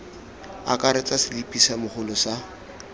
akaretsa selipi sa mogolo sa